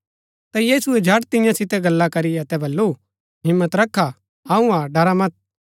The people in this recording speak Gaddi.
ता यीशुऐ झट तियां सितै गल्ला करी अतै बल्लू हिम्मत रखा अऊँ हा ड़रा मत